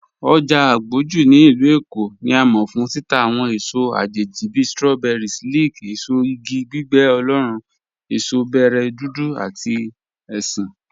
Ojá Àgbójú ní ilù Èkó ni à mọ̀ fún títà awọn èsò àjẹjì bí strawberries, leek, èsò ìgì gbígbẹ̀ oloorùn, èsò bẹ̀rẹ̀ dúdú àti èṣin.